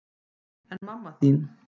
En mamma þín?